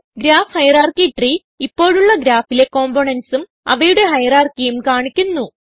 graph hierarchy tree ഇപ്പോഴുള്ള ഗ്രാഫിലെ components ഉം അവയുടെ hierarchyഉം കാണിക്കുന്നു